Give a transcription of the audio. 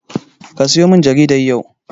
Kasiyo min jaridan yau.